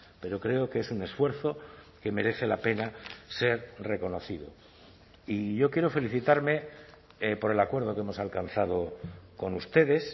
pero creo que es un esfuerzo que merece la pena ser reconocido y yo quiero felicitarme por el acuerdo que hemos alcanzado con ustedes